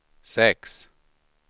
sex